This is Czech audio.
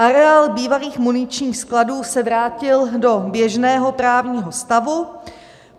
Areál bývalých muničních skladů se vrátil do běžného právního stavu.